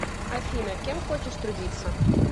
афина кем хочешь трудиться